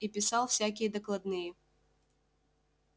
и писал всякие докладные